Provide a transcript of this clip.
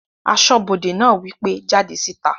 Asọ́bodè náà wí pé "jáde síta!"